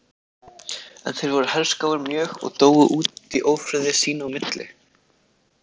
En þeir voru herskáir mjög og dóu út í ófriði sín á milli.